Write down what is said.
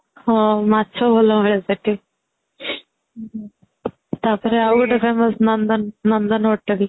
ହଁ ମାଛ ଭଲ ମିଳେ ସେଠି, ତାପରେ ଆଉ ଗୋଟେ ନନ୍ଦନ ନନ୍ଦନ Hotel